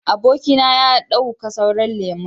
Aboki na ya dauka sauran lemun.